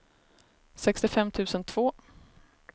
sextiofem tusen två